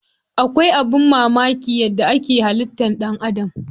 Akwai abin mamaki a yadda ake halittar ɗan Adam.